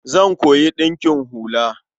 Zan koyi ɗinkin hula.